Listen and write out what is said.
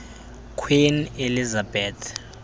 queen elizabeth